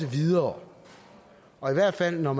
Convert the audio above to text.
videre og i hvert fald når